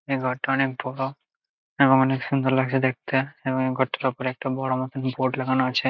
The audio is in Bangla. এঘরটা অনেক বড় এবং অনেক সুন্দর লাগছে দেখতে এবং এই ঘরটার ওপরে একটা বড় মত বোর্ড লাগানো আছে।